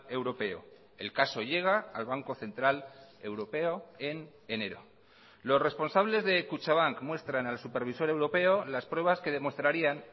europeo el caso llega al banco central europeo en enero los responsables de kutxabank muestran al supervisor europeo las pruebas que demostrarían